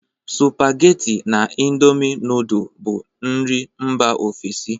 Supageti na indomi nudul bụ nri Mba ofesi